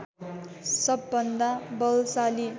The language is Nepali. सबभन्दा बलशाली